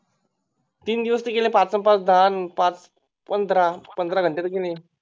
तीन दिवस तर गेले पाच अन पाच दहा आन पाच पंधरा पंधरा घंटे तर गेले